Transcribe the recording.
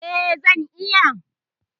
Eh, zan iya